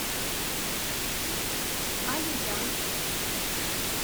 алия